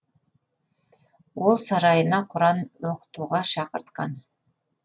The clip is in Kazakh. ол сарайына құран оқытуға шақыртқан